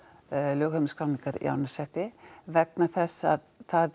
lögheimilisskráningar í Árneshreppi vegna þess að